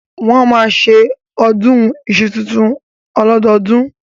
Wọ́n máa ń ṣe ọdún iṣu tuntun ọlọ́dọọdún